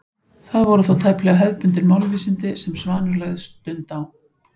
Það voru þó tæplega hefðbundin málvísindi sem Svanur lagði stund á.